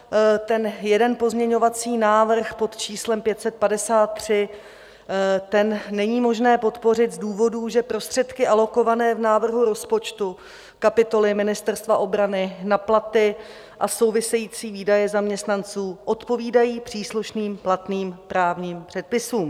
Ten jeden pozměňovací návrh pod číslem 553 není možné podpořit z důvodů, že prostředky alokované v návrhu rozpočtu kapitoly Ministerstva obrany na platy a související výdaje zaměstnanců odpovídají příslušným platným právním předpisům.